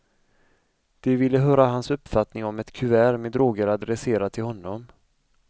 De ville höra hans uppfattning om ett kuvert med droger adresserat till honom.